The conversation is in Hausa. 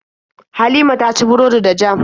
Halima ta ci burodi da jam.